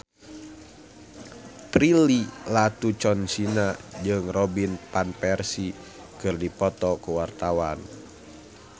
Prilly Latuconsina jeung Robin Van Persie keur dipoto ku wartawan